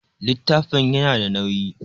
Littafin ya na da nauyi